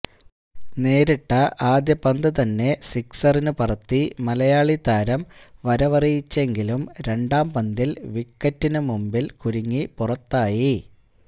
നേരിട്ട ആദ്യ പന്ത് തന്നെ സിക്സറിന് പറത്തി മലയാളി താരം വരവറിയിച്ചെങ്കിലും രണ്ടാംപന്തില് വിക്കറ്റിന് മുന്നില് കുരുങ്ങി പുറത്തായി